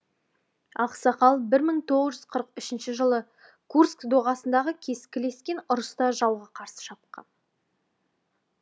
ақсақал бір мың тоғыз жүз қырық үшінші жылы курск доғасындағы кескілескен ұрыста жауға қарсы шапқан